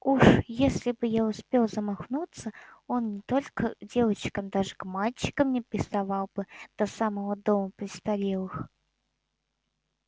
уж если бы я успел замахнуться он не только девочкам даже к мальчишкам не приставал бы до самого дома престарелых